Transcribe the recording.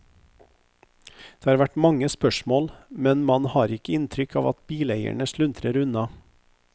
Det har vært mange spørsmål, men man har ikke inntrykk av at bileierne sluntrer unna.